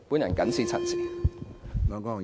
我謹此陳辭。